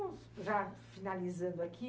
Vamos já finalizando aqui.